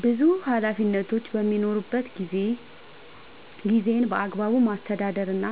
ብዙ ኃላፊነቶች በሚኖሩበት ጊዜ ጊዜን በአግባቡ ማስተዳደር እና